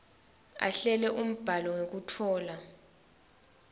ahlele umbhalo ngekutfola